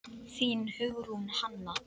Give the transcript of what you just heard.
Þín, Hugrún Hanna.